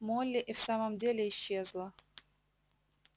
молли и в самом деле исчезла